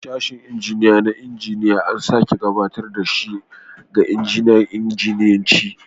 Sashen injiniya na injiniya an sake gabatar da shi ga sashin injiniyanci